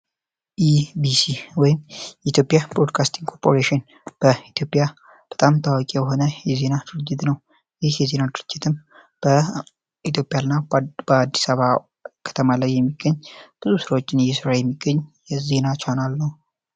የኢቢሲ ወይም የኢትዮጵያ ብሮድካስቲንግ ኮርፖሬሽን የኢትዮጵያ ዜና አገልግሎት ኮርፖሬሽን በጣም ታዋቂ የሆነ የዜና አቅራቢ ድርጅት ነው ይህ ዜና ድርጅትን በኢትዮጵያና በአዲስ አበባ ከተማ የሚገኝ ድርጅቶችን የዜና ቻናል ነው።